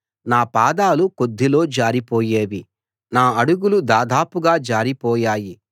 నా పాదాలు కొద్దిలో జారిపోయేవి నా అడుగులు దాదాపుగా జారి పోయాయి